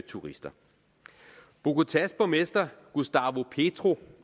turister bogotás borgmester gustavo petro